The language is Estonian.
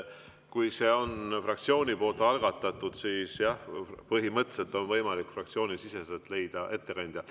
Kui see on fraktsiooni algatatud, siis jah, põhimõtteliselt on võimalik fraktsiooni seest leida ettekandja.